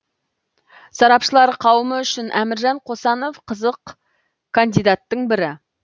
сарапшылар қауымы үшін әміржан қосанов қызық кандидаттың бірі